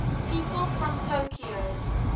people from tokyo